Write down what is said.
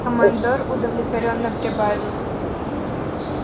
командор удовлетворённо прибавил